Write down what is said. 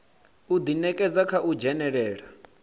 u ḓinekedza kha u dzhenelela